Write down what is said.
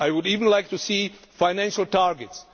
I would even like to see financial targets.